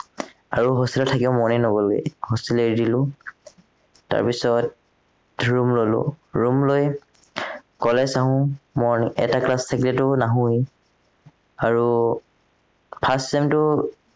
আৰু hostel ত থাকিবলে মনেই নগলেই hostel এৰি দিলো তাৰপাছত room ললো room লৈ college আহো morning এটা class থাকিলেতো নাহোৱেই আৰু first sem টো